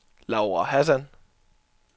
Laura Hassan